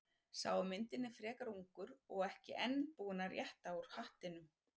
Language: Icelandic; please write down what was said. Sá á myndinni er frekar ungur og enn ekki búinn að rétta úr hattinum.